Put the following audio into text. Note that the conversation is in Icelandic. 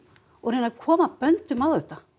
og reyna að koma böndum á þetta